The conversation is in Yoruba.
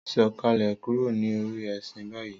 Sọkalẹ kúrò ní orí ẹṣin bayi!